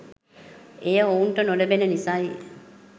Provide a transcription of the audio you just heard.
එය ඔවුන්ට නොලැබෙන නිසයි